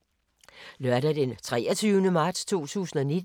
Lørdag d. 23. marts 2019